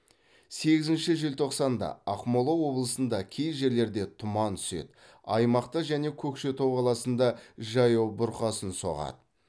сегізінші желтоқсан да ақмола облысында кей жерлерде тұман түседі аймақта және көкшетау қаласында жаяу бұрқасын соғады